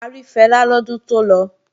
A rí Fẹlá lọ́dún tó lọ